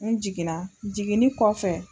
N jiginna, jigin ni kɔfɛ.